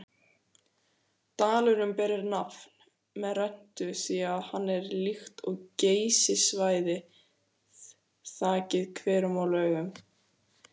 Dalurinn ber nafn með rentu því hann er líkt og Geysissvæðið þakinn hverum og laugum.